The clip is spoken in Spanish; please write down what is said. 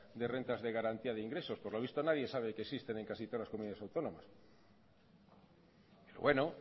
de rentas de garantías de ingresos por lo visto nadie sabe que existen en casi todas las comunidades autónomas pero bueno